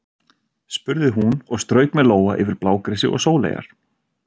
spurði hún og strauk með lófa yfir blágresi og sóleyjar.